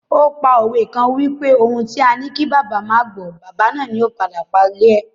O pa òwe kan wipe "ohun tí a ní kí bàbá má gbọ̀ọ́, bàbá náà ni yóò padà parí rẹ̀!"